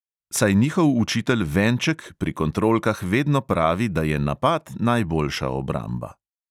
Saj njihov učitelj venček pri kontrolkah vedno pravi, da je napad najboljša obramba.